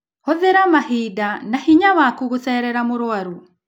Hũthĩra mahinda na hinya waku gũceerera mũrwaru